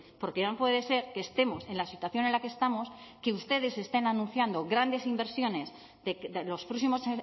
porque no puede ser que estemos en la situación en la que estamos que ustedes estén anunciando grandes inversiones de los próximos